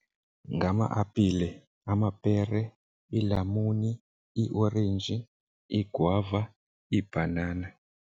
Ngama-apile, amapere, iilamuni, iiorenji, iigwava, ibhanana.